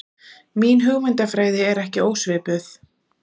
Mín hugmyndafræði er ekki ósvipuð.